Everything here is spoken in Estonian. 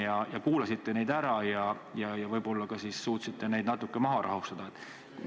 Kas te kuulasite nad ära ja võib-olla ka suutsite neid natuke maha rahustada?